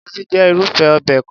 Egusi jẹ́ irúfé obẹ̀ kan.